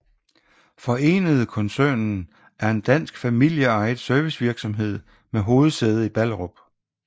Forenede Koncernen er en dansk familieejet servicevirksomhed med hovedsæde i Ballerup